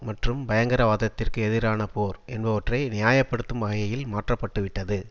மற்றும் பயங்கரவாதத்திற்கு எதிரான போர் என்பவற்றை நியாய படுத்தும் வகையில் மாற்றப்பட்டுவிட்டது